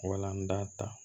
Wala an da ta